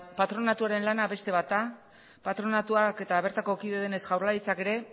patronatuaren lana beste bat da patronatuak eta bertako kide denez jaurlaritzak ere